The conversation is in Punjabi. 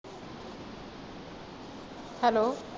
hello